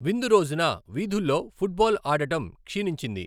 విందు రోజున, వీధుల్లో ఫుట్బాల్ ఆడటం క్షీణించింది.